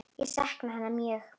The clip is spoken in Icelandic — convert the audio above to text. Ég sakna hennar mjög.